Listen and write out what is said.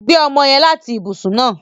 Gbé ọmọ yẹn láti ibùsùn náà!